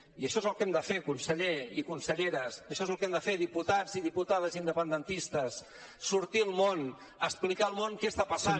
i això és el que hem de fer conseller i conselleres això és el que hem de fer diputats i diputades independentistes sortir al món a explicar al món que està passant